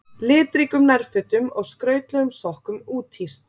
Litríkum nærfötum og skrautlegum sokkum úthýst